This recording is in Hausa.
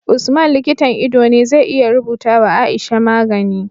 Usman likitan ido ne zai iya rubuta wa aisha magani